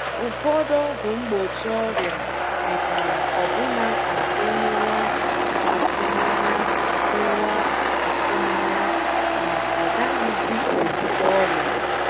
Ụfọdụ ọgwụ mgbochi ọrịa mekwara ọbụna ka e nwewa atụmanya nwewa atụmanya na a gaghịzi ebute ọrịa.